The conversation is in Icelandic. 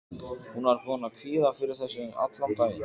Hún var búin að kvíða fyrir þessu allan daginn.